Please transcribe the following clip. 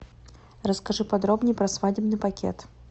расскажи подробней про свадебный пакет